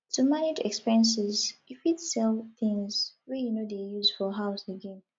to manage expenses you fit sell things wey you no dey use for house again